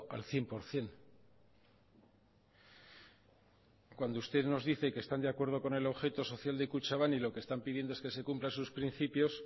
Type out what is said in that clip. al cien por ciento cuando usted nos dice que están de acuerdo con el objeto social de kutxabank y lo que están pidiendo es que se cumplan sus principios